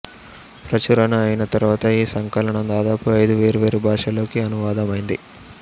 ప్రచురణ అయిన తరువాత ఈ సంకలనం దాదాపు ఐదు వేర్వేరు భాషల్లోకి అనువాదమైంది